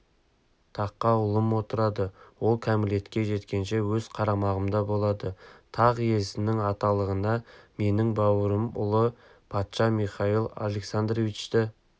таққа ұлым отырады ол кәмелетке жеткенше өз қарамағымда болады тақ иесінің аталығына менің бауырым ұлы патша михаил александровичті